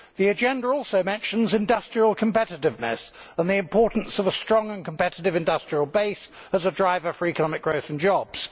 The agenda also mentions industrial competitiveness and the importance of a strong and competitive industrial base as a driver for economic growth and jobs.